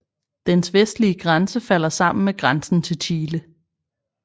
Dens vestlige grænse falder sammen med grænsen til Chile